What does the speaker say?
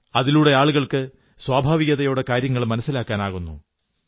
അതിലൂടെ ആളുകൾക്ക് സ്വാഭാവികതയോടെ കാര്യം മനസ്സിലാക്കാനാകുന്നു